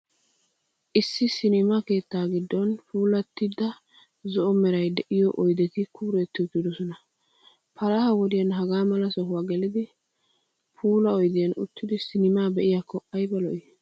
Issi 'sinima' keettaa giddon puulattida zo'o meray de'iyoo oydeti kuuretti uttidosona. Palaha wodiyan hagaa mala sohuwa gelidi, puulaa oydiyan uttidi cinimaa be'iyaakko, ayba lo'ii !!